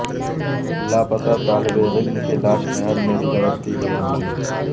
لاپتہ طالب علم کی لاش نہر میں تیرتی ہوئی ملی